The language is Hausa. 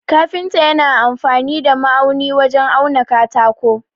Kafinta yana amfani da ma'auni wajen auna katako.